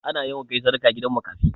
Ana yawan kai sadaka gidan makafi.